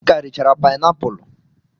M ka richara painapulu.